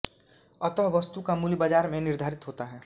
अतः वस्तु का मूल्य बाजार में निर्धारित होता है